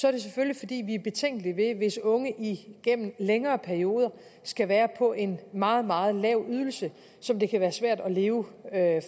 er det selvfølgelig fordi vi er betænkelige hvis unge igennem en længere periode skal være på en meget meget lav ydelse som det kan være svært at leve